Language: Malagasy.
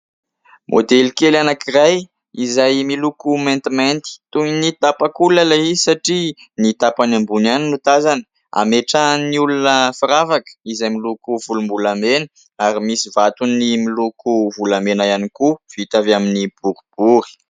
Modely kely anankiray izay miloko maintimainty. Toy ny tapak'olona ilay izy satria ny tapany ambony ihany no tazana. Ametrahan'ny olona firavaka izay miloko volom-bolamena ary misy vatony miloko volamena ihany koa vita avy amin'ny boribory.